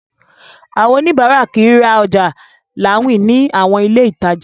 Àwọn oníbàárà kìí ra ọjà láwìn ní àwọn ilé ìtajà.